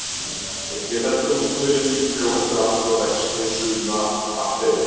Einnig heldur hún húðinni mjúkri og heldur aftur af vexti sumra baktería.